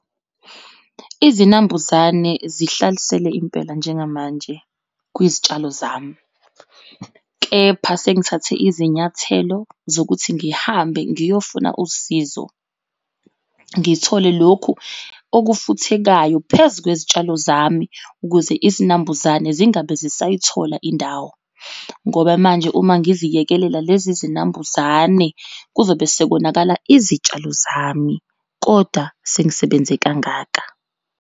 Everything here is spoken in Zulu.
Izinambuzane zihlalisele impela njengamanje kwizitshalo zami kepha sengithathe izinyathelo zokuthi ngihambe ngiyofuna usizo. Ngithole lokhu okufuthekayo phezu kwezitshalo zami ukuze izinambuzane zingabe zisayithola indawo ngoba manje, uma ngivikekelela lezi zinambuzane kuzobe sekonakala izitshalo zami, kodwa sengisebenze kangaka.